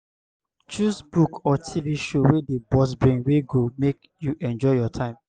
choose book or tv show wey dey burst brain wey go make you enjoy your time